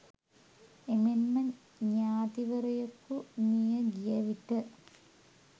එමෙන්ම ඤාතිවරයෙකු මිය ගිය විට